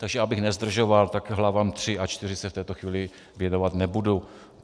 Takže abych nezdržoval, tak hlavám III a IV se v této chvíli věnovat nebudu.